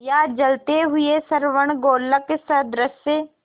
या जलते हुए स्वर्णगोलक सदृश